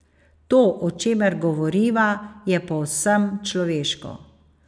To, o čemer govoriva, je povsem človeško.